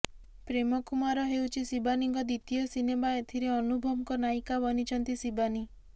ପ୍ରେମକୁମାର ହେଉଛି ଶିବାନୀଙ୍କ ଦ୍ୱିତୀୟ ସିନେମା ଏଥିରେ ଅନୁଭବଙ୍କ ନାୟିକା ବନିଛନ୍ତି ଶିବାନୀ